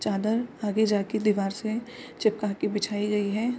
चादर आगे जाके दीवार से चिपका कर बिछाई गई है।